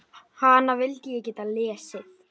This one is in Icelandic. Hana vildi ég geta lesið.